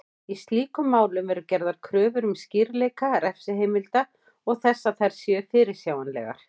Í slíkum málum eru gerðar kröfur um skýrleika refsiheimilda og þess að þær séu fyrirsjáanlegar.